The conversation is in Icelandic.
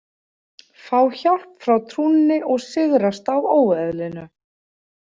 Fá hjálp frá trúnni og sigrast á óeðlinu.